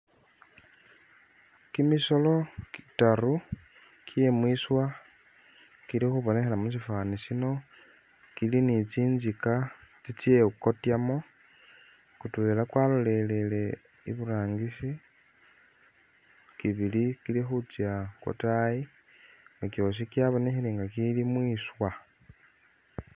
Kimisolo kitaru kye mwiswa kili khubonekhela mu sifwaani sino, kili ni tsinzika tsitsyekotyamu, kutwela kwalolelele iburangisi, kibili kili khutsya kwatayi ne kyosi kyabonekhile nga ikili mwiswa.